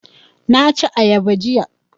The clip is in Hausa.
Na ci ayaba jiya